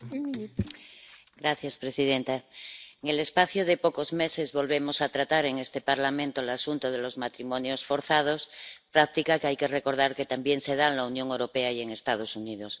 Señora presidenta, en el espacio de pocos meses volvemos a tratar en este Parlamento el asunto de los matrimonios forzados, práctica que hay que recordar que también se da en la Unión Europea y en los Estados Unidos.